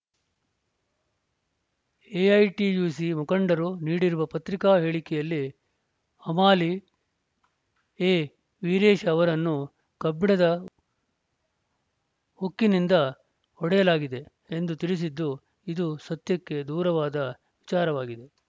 AITUC ಮುಖಂಡರು ನೀಡಿರುವ ಪತ್ರಿಕಾ ಹೇಳಿಕೆಯಲ್ಲಿ ಹಮಾಲಿ ಎ ವೀರೇಶ್‌ ಅವರನ್ನು ಕಬ್ಬಿಣದ ಹುಕ್ಕಿನಿಂದ ಹೊಡೆಯಲಾಗಿದೆ ಎಂದು ತಿಳಿಸಿದ್ದು ಇದು ಸತ್ಯಕ್ಕೆ ದೂರವಾದ ವಿಚಾರವಾಗಿದೆ